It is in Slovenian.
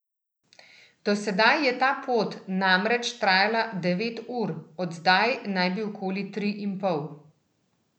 Do sedaj je ta pot namreč trajala devet ur, od zdaj naj bi okoli tri in pol.